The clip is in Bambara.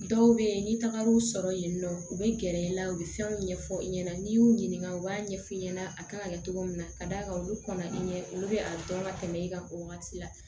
Dɔw bɛ yen ni tagar'u sɔrɔ yen nɔ u bɛ gɛrɛ i la u bɛ fɛnw ɲɛfɔ i ɲɛna n'i y'u ɲininka u b'a ɲɛf'i ɲɛna a kan ka kɛ cogo min na ka d'a kan olu kɔnna i ɲɛ olu bɛ a dɔn ka tɛmɛ i kan o wagati la